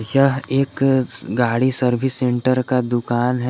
यह एक गाड़ी सर्विस सेंटर का दुकान है।